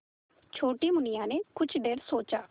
छोटी मुनिया ने कुछ देर सोचा